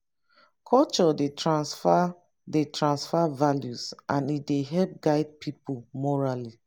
culture dey tranfer dey tranfer values and e dey help guide pipo morally